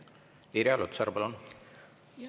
Irja Lutsar, palun!